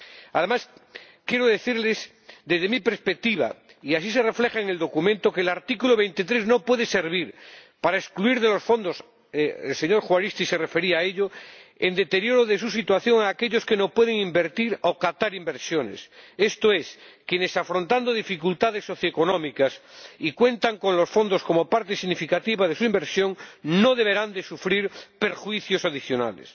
Además, quiero decirles, desde mi perspectiva, y así se refleja en el documento, que el artículo 23 no puede servir para excluir de los fondos —el señor Juaristi se refería a ello—, en deterioro de su situación, a aquellos que no pueden invertir o captar inversiones. Esto es, quienes afrontan dificultades socioeconómicas y cuentan con los fondos como parte significativa de su inversión, no deberán sufrir perjuicios adicionales.